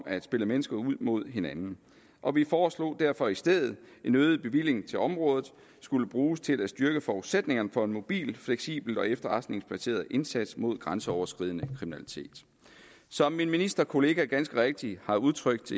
at spille mennesker ud mod hinanden og vi foreslog derfor i stedet at en øget bevilling til området skulle bruges til at styrke forudsætningerne for en mobil fleksibel og efterretningsbaseret indsats mod grænseoverskridende kriminalitet som min ministerkollega ganske rigtigt har udtrykt